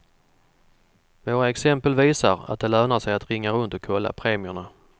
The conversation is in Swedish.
Våra exempel visar att det lönar sig att ringa runt och kolla premierna.